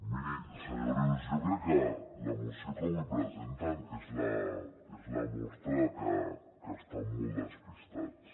miri senyor rius jo crec que la moció que avui presenten és la mostra que estan molt despistats